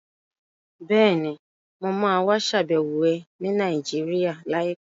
Bẹ́ẹ̀ni, mo ma wá ṣàbẹ̀wọ̀ ẹ ní Nàìjíríà láìpẹ́